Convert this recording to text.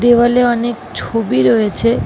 দেওয়াল এ অনেক ছবি রয়েছে--